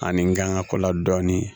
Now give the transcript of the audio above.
Ani n kan ka ko la dɔɔnin